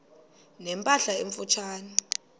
ne mpahla emfutshane